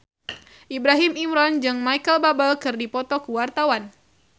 Ibrahim Imran jeung Micheal Bubble keur dipoto ku wartawan